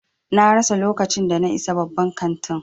Na rasa lokacin da na isa babban kantin.